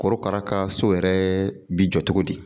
Korokara ka so yɛrɛ bi jɔ cogo di